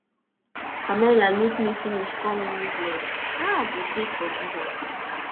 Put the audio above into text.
pamela look me finish call me useless how i go take forgive am